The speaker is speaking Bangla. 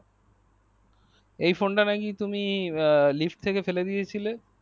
এই phone তা নাকি তুমি লিফ্ট থেকে ফেলে দিয়েছিলে